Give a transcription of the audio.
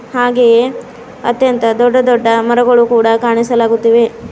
ಹಾಗೆಯೇ ಅತ್ಯಂತ ದೊಡ್ಡ ದೊಡ್ಡ ಮರಗಳು ಕೂಡ ಕಾಣಿಸಲಾಗುತ್ತಿವೆ.